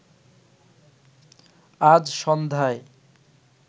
আজ সন্ধ্যায়